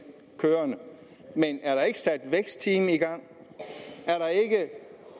kørende men er der måske ikke sat vækstteam i gang er